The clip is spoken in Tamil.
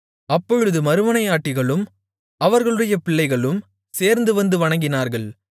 அப்பொழுது மறுமனையாட்டிகளும் அவர்களுடைய பிள்ளைகளும் சேர்ந்துவந்து வணங்கினார்கள்